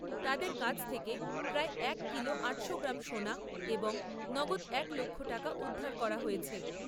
তাদের কাছ থেকে প্রায় এক কিলো আটশো গ্রাম সোনা এবং নগদ এক লক্ষ টাকা উদ্ধার করা হয়েছে।